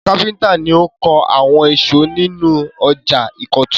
Àwọn kápẹ́ńtà ni ó kọ́ àwọn ìsọ̀ inú ọjà ìkọ̀tún.